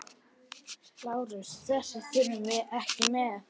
LÁRUS: Þess þurfti ekki með.